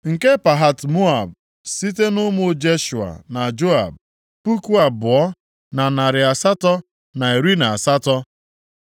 nke Pahat-Moab site nʼụmụ Jeshua na Joab, puku abụọ, na narị asatọ na iri na asatọ (2,818),